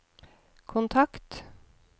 kontakt